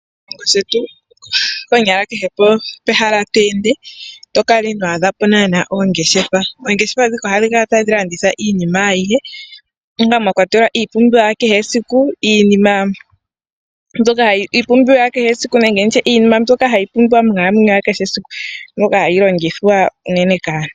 Moshilongo shetu konyala kehe pehala to ende, ito kala ino adha po naana oongeshefa. Oongeshefa dhika ohadhi kala tadhi landitha iinima ayihe, mwa kwatelwa iipumbiwa ya kehe esiku, nenge nditye iinima mbyoka hayi pumbiwa monkalamweyo ya kehesiku, mbyoka hayi longithwa unene kaantu.